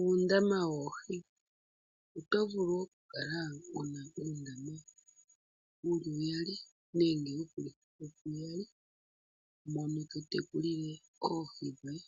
Uundama woohi, oto vulu oku kala wuna uundama wuli uyali nenge wu vulithe puuyali mono to tekulile oohi dhoye.